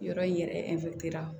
Yɔrɔ in yɛrɛ